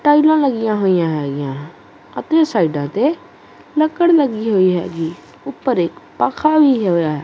ਟਾਈਲਾਂ ਲੱਗੀਆਂ ਹੋਈਆਂ ਹੈਗੀਆਂ ਅਤੇ ਸਾਈਡਾਂ ਤੇ ਲੱਕੜ ਲੱਗੀ ਹੋਈ ਹੈਗੀ ਉੱਪਰ ਇੱਕ ਪਖਾ ਵੀ ਹੋਇਆ।